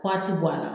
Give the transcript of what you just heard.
Waati bɔ a la